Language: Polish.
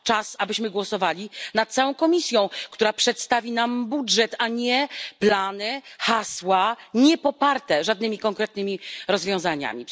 Czas, abyśmy głosowali nad całą Komisją, która przedstawi nam budżet, a nie plany, hasła, niepoparte żadnymi konkretnymi rozwiązaniami.